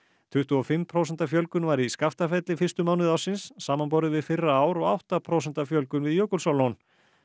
tuttugu og fimm prósent fjölgun var í Skaftafelli fyrstu mánuði ársins samanborið við fyrra ár og átta prósent fjölgun við Jökulsárlón